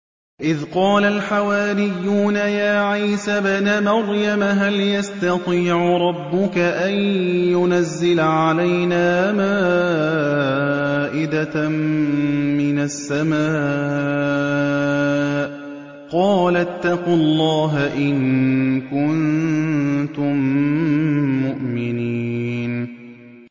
إِذْ قَالَ الْحَوَارِيُّونَ يَا عِيسَى ابْنَ مَرْيَمَ هَلْ يَسْتَطِيعُ رَبُّكَ أَن يُنَزِّلَ عَلَيْنَا مَائِدَةً مِّنَ السَّمَاءِ ۖ قَالَ اتَّقُوا اللَّهَ إِن كُنتُم مُّؤْمِنِينَ